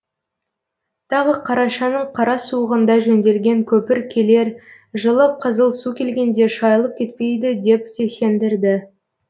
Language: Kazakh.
тағы қарашаның қара суығында жөнделген көпір келер жылы қызыл су келгенде шайылып кетпейді деп те сендірді